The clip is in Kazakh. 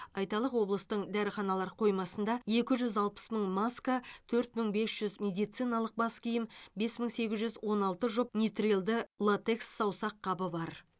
айталық облыстың дәріханалар қоймасында екі жүз алпыс мың маска төрт мың бес жүз медицининалық бас киім бес мың сегіз жүз он алты жұп нитрилді латекс саусаққабы бар